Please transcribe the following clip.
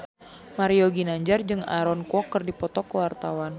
Mario Ginanjar jeung Aaron Kwok keur dipoto ku wartawan